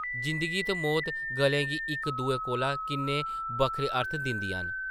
जिंदगी ते मौत गल्लें गी इक दुए कोला किन्ने बक्खरे अर्थ दिंदियां न ।